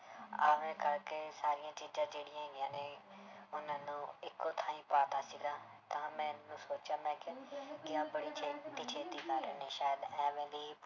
ਇਵੇਂ ਕਰਕੇ ਸਾਰੀਆਂ ਚੀਜ਼ਾਂ ਜਿਹੜੀਆਂ ਹੈਗੀਆਂ ਨੇ ਉਹਨਾਂ ਨੂੰ ਇੱਕੋ ਥਾਈਂ ਪਾ ਦਿੱਤਾ ਸੀਗਾ ਤਾਂ ਸੋਚਿਆ ਮੈਂ ਕਿਹਾ ਸ਼ਾਇਦ ਇਵੇਂ ਦੀ